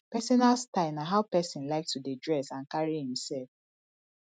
personal style na how pesin like to dey dress and carry imself